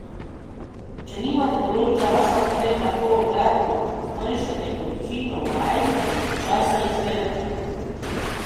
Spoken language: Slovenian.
Če nimate dovolj časa, potem lahko, obratno, zmanjšajte količino vaj in časa izvedbe.